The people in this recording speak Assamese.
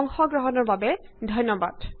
অংশ গ্ৰহণৰ বাবে ধন্যবাদ